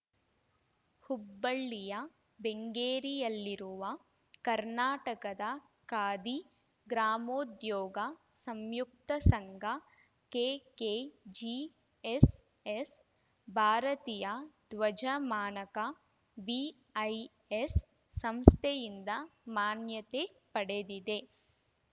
ಹುಬ್ಬಳ್ಳಿಯ ಬೆಂಗೇರಿಯಲ್ಲಿರುವ ಕರ್ನಾಟಕದ ಖಾದಿ ಗ್ರಾಮೋದ್ಯೋಗ ಸಂಯುಕ್ತ ಸಂಘ ಕೆಕೆಜಿಎಸ್‌ಎಸ್‌ ಭಾರತೀಯ ಧ್ವಜ ಮಾನಕ ಬಿಐಎಸ್‌ ಸಂಸ್ಥೆಯಿಂದ ಮಾನ್ಯತೆ ಪಡೆದಿದೆ